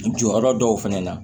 Jɔyɔrɔ dɔw fɛnɛ na